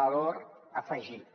valor afegit